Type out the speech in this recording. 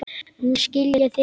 Nú skil ég þig ekki.